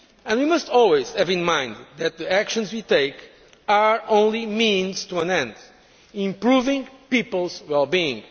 We must always bear in mind that the actions we take are only the means to an end, improving people's well being.